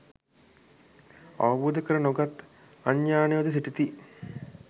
අවබෝධ කර නොගත් අඥානයෝද සිටිති.